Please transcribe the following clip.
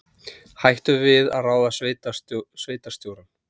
Hættu við að ráða sveitarstjórann